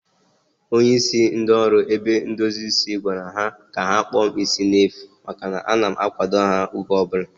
Onye isi ndị oru ebe ndozi isi gwara ha ka ha kpụọ m isi n'efu maka na a na m akwado ha oge ọbụla